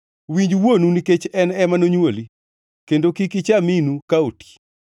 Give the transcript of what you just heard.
Winj wuonu, nikech en ema nonywoli, kendo kik icha minu ka oti.